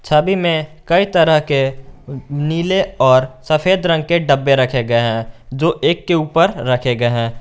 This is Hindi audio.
छवी में कई तरह के नीले और सफेद रंग के डब्बे रखे गए हैं जो एक के ऊपर रखे गए हैं।